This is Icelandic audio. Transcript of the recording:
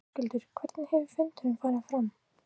Höskuldur hvernig hefur fundurinn farið fram?